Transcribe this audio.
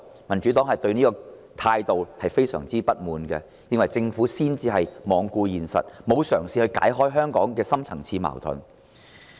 民主黨對這種態度感到非常不滿，認為政府才罔顧現實，沒有嘗試化解香港的深層次矛盾。